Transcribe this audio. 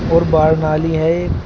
और बाहर नाली है एक।